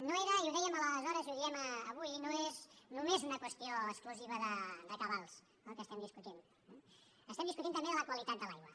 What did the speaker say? no era i ho dèiem aleshores i ho diem avui no és només una qüestió exclusiva de cabals el que estem discutint eh estem discutint també de la qualitat de l’aigua